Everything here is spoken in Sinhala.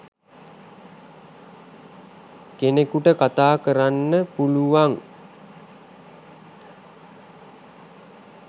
කෙනෙකුට කතා කරන්න පුලුවන්